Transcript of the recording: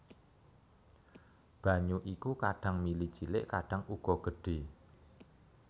Banyu iku kadhang mili cilik kadhang uga gedhe